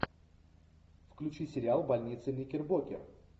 включи сериал больница никербокер